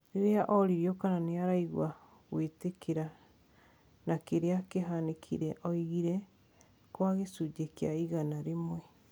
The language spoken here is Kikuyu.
Riria oririo kana niaraigwa gũĩtikira na kiria kiahanikire, augire :" Kwa gicunji kia igana rimwe."